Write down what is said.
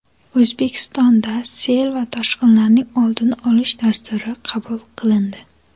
O‘zbekistonda sel va toshqinlarning oldini olish dasturi qabul qilindi.